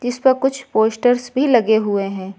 इस पर कुछ पोस्टर्स भी लगे हुए हैं।